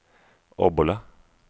Obbola